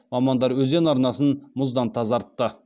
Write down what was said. мамандар өзен арнасын мұздан тазартты